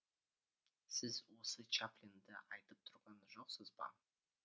сіз өзі чаплинді айтып тұрған жоқсыз ба